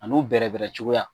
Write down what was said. Ani u bɛrɛbɛrɛ cogoya